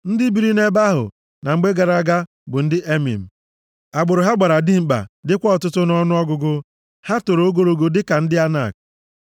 (Ndị biri nʼebe ahụ na mgbe gara aga bụ ndị Emim, agbụrụ ha gbara dimkpa dịkwa ọtụtụ nʼọnụọgụgụ. Ha toro ogologo dịka ndị Anak.